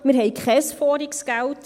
Wir haben überschüssiges Geld.